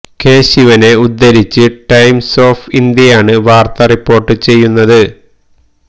K ശിവനെ ഉദ്ധരിച്ച് Times of ഇന്ത്യയാണ് വാര്ത്ത റിപ്പോര്ട്ട് ചെയ്യുന്നത്